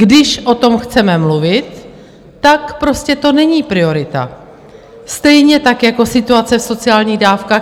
Když o tom chceme mluvit, tak to prostě není priorita, stejně tak jako situace v sociálních dávkách.